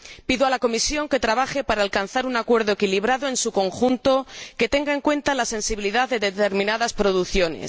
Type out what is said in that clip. Pido a la Comisión que trabaje para alcanzar un acuerdo equilibrado en su conjunto que tenga en cuenta la sensibilidad de determinadas producciones.